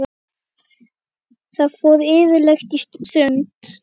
Við fórum iðulega í sund.